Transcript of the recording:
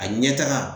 A ɲɛtaga